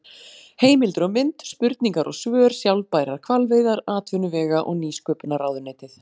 Heimildir og mynd: Spurningar og svör Sjálfbærar hvalveiðar Atvinnuvega- og nýsköpunarráðuneytið.